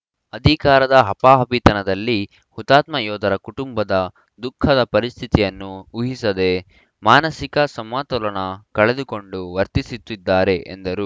ಅಧಿಕಾರದ ಹಪಾಹಪಿತನದಲ್ಲಿ ಹುತಾತ್ಮ ಯೋಧರ ಕುಟುಂಬದ ದುಃಖದ ಪರಿಸ್ಥಿತಿಯನ್ನು ಊಹಿಸದೆ ಮಾನಸಿಕ ಸಮತೋಲನ ಕಳೆದುಕೊಂಡು ವರ್ತಿಸುತ್ತಿದ್ದಾರೆ ಎಂದರು